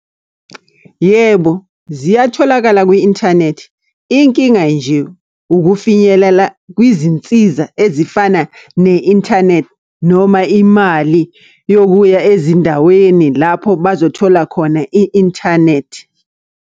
Yebo, ziyatholakala kwi-inthanethi. Inkinga nje ukufinyelela kwizinsiza ezifana ne-inthanethi noma imali yokuya ezindaweni lapho bazothola khona i-inthanethi.